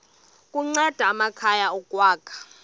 kunceda amakhaya ukwakha